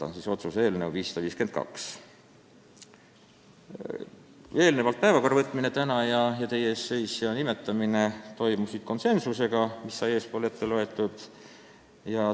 Enne oli konsensusega vastu võetud ettepanek eelnõu tänasesse päevakorda võtta ja määrata ettekandjaks teie ees seisja.